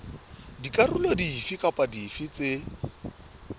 dikarolo dife kapa dife tse